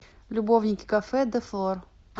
любовники кафе де флор